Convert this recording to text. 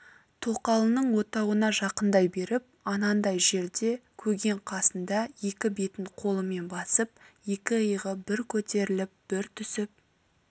тоқалының отауына жақындай беріп анандай жерде көген қасында екі бетін қолымен басып екі иығы бір көтеріліп бір түсіп